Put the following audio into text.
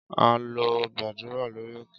Á lọ gbàdúrà lórí òkè